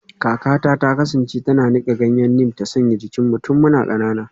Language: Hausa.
Kakata ta kasance tana nika ganyen neem ta sanya jikinmu tun muna kanana